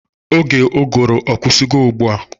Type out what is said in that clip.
Oge ụgụrụ akwụsigo ugbua?